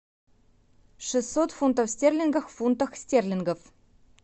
шестьсот фунтов стерлингов в фунтах стерлингов